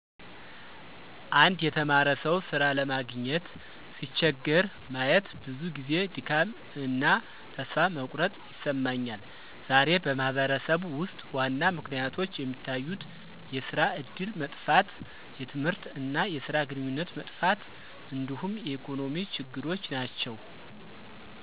አንድ የተማረ ሰው ሥራ ለማግኘት ሲቸገር ማየት ብዙ ጊዜ ድካም እና ተስፋ መቁረጥ ይሰማኛል። ዛሬ በማህበረሰብ ውስጥ ዋና ምክንያቶች የሚታዩት የስራ እድል መጥፋት፣ የትምህርት እና የስራ ግንኙነት መጥፋት እንዲሁም የኢኮኖሚ ችግሮች ናቸው።